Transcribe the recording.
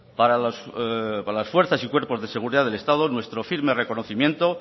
para las fuerzas y cuerpos de seguridad del estado nuestro firme reconocimiento